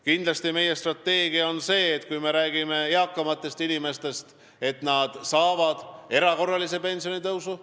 Kindlasti on meie strateegia see, kui me räägime eakamatest inimestest, et nad saavad erakorralise pensionitõusu.